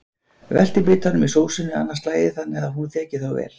Veltið bitunum í sósunni annað slagið þannig að hún þeki þá vel.